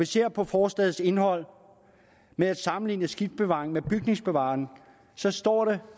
ser på forslagets indhold med at sammenligne skibsbevaring med bygningsbevaring står dette